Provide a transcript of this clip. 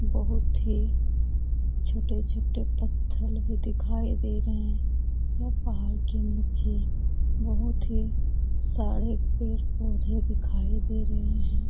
बहुत ही छोटे-छोटे पत्थर भी दिखाई दे रहें हैं यह पहाड़ के नीचे बहुत हीं सारे पेड़-पौधे दिखाई दे रहें हैं।